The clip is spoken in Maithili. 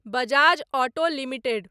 Bajaj auto limited